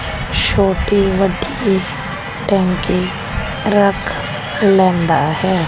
ਛੋਟੀ ਵੱਡੀ ਟੈਂਕੀ ਰੱਖ ਲੈਂਦਾ ਹੈ।